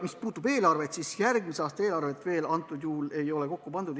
Mis puudutab eelarvet, siis järgmise aasta eelarvet veel ei ole kokku pandud.